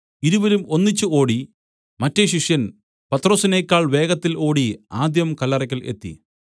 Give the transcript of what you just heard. ഇരുവരും ഒന്നിച്ച് ഓടി മറ്റെ ശിഷ്യൻ പത്രൊസിനേക്കാൾ വേഗത്തിൽ ഓടി ആദ്യം കല്ലറയ്ക്കൽ എത്തി